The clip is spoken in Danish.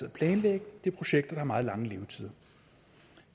at planlægge det er projekter der har meget lange levetider